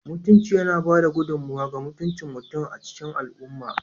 Mutunci yana ba da gudummawa ga mutuncin mutum a cikin al'umma